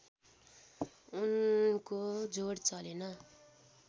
उनको जोड चलेन